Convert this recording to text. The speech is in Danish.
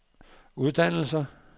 uddannelser